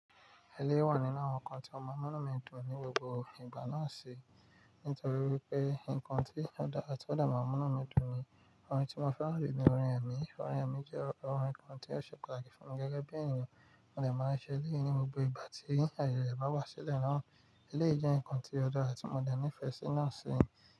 Eléyìí wà nínú àwọn ǹkan tí mo mọ̀ máa mu inú mi dùn ní gbogbo ìgbà náà ṣi, nítorí wípé ǹkan tí ọ̀da àti ọ̀ de màá n mu inu mi dùn ni, orin tí mo fẹ́ràn de ní ọ̀rin emi, ọ̀rin emi jẹ́ orin kan tí ó ṣe pàtàkì fún mi gẹ́gẹ́ bí èèyàn, mo dẹ̀ máa ṣe lé yi ní gbogbo ìgbà tí ayẹ̀ rẹ̀ bá wá sílẹ̀ náà, elé jẹ́ ǹkan tí ọ̀dára ti mo de nifẹ́ ṣi náà ṣi.